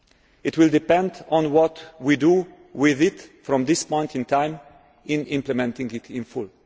It will depend on what we do with it from this point in time in implementing it in full.